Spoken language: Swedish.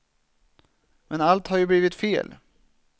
Men allt har ju blivit fel.